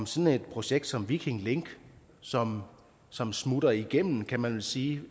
sådan et projekt som viking link som som smutter igennem kan man vel sige